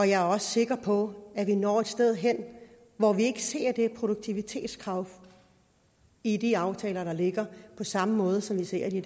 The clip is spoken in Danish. jeg er også sikker på at vi når et sted hen hvor vi ikke ser det produktivitetskrav i de aftaler der ligger på samme måde som vi ser det